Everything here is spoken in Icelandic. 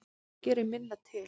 Það gerir minna til.